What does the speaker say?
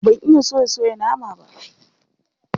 Ban iya soya soya nama ba.